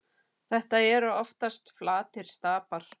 Þetta eru oftast flatir stapar.